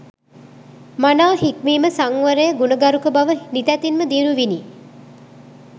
මනා හික්මීම සංවරය ගුණගරුක බව නිතැතින්ම දියුණු විණි